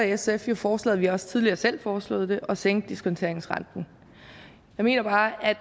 sf jo forslaget vi har også tidligere selv foreslået det at sænke diskonteringsrenten jeg mener bare at